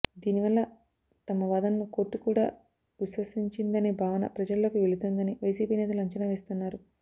దీనివల్ల తమ వాదనను కోర్టు కూడా విశ్వసించిందనే భావన ప్రజల్లోకి వెళుతుందని వైసీపీ నేతలు అంచనా వేస్తున్నారు